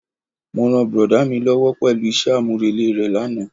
Mo ràn brọ̀dá mi lówó pẹ̀lú isẹ́ àmúrelé re lánàá.